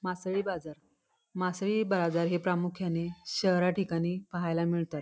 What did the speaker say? मासळी बाजार मासळी बाजार हे प्रामुख्याने शहरा ठिकाणी पाहायला मिळतात.